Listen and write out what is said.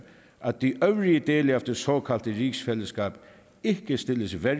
at de øvrige dele af det såkaldte rigsfællesskab ikke stilles værre